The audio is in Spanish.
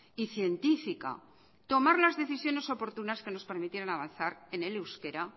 y científica tomar las decisiones oportunas que nos permitieron avanzar en el euskera